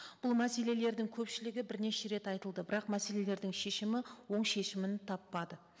бұл мәселелердің көпшілігі бірнеше рет айтылды бірақ мәселелердің шешімі оң шешімін таппады